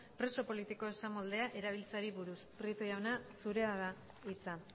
preso politiko esamoldea erabiltzeari buruz prieto jauna zurea da hitza